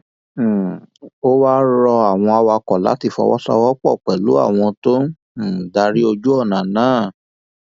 um ó wáá rọ àwọn awakọ láti fọwọsowọpọ pẹlú àwọn tó ń um darí ojú ọnà náà